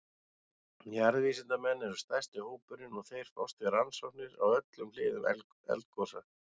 Jarðvísindamenn eru stærsti hópurinn og þeir fást við rannsóknir á öllum hliðum eldgosa.